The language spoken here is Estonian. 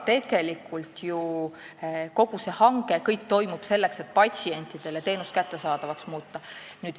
Tegelikult see kõik, kogu hange on ju selleks, et teenust patsientidele kättesaadavaks muuta.